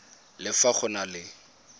le fa go na le